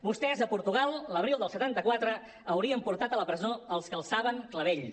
vostès a portugal l’abril del setanta quatre haurien portat a la presó els que alçaven clavells